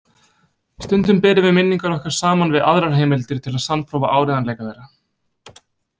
Stundum berum við minningar okkar saman við aðrar heimildir til að sannprófa áreiðanleika þeirra.